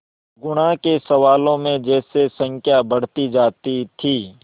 गुणा के सवालों में जैसे संख्या बढ़ती जाती थी